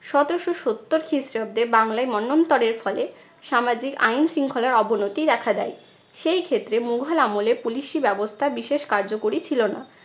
সতেরশো সত্তর খ্রিস্টাব্দে বাংলায় মন্বন্তরের ফলে সামাজিক আইন শৃঙ্খলার অবনতি দেখা দেয়। সেই ক্ষেত্রে মুঘল আমলে police ই ব্যবস্থা বিশেষ কার্যকরী ছিলো না।